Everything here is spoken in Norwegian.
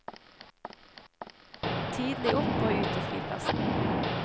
Tidlig opp og ut til flyplassen.